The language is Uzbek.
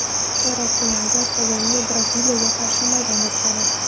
Chorak finalda Kolumbiya Braziliyaga qarshi maydonga tushadi.